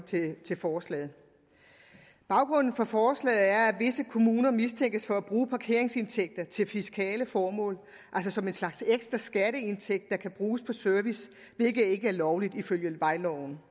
til forslaget baggrunden for forslaget er at visse kommuner mistænkes for at bruge parkeringsindtægter til fiskale formål altså som en slags ekstra skatteindtægt der kan bruges på service hvilket ikke er lovligt ifølge vejloven